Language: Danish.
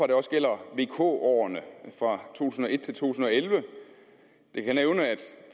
det også gælder vk årene fra to tusind og et til to tusind og elleve jeg kan nævne